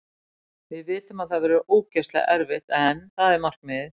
Við vitum að það verður ógeðslega erfitt en það er markmiðið.